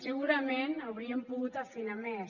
segurament hauríem pogut afinar més